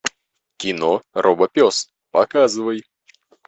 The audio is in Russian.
кино робопес показывай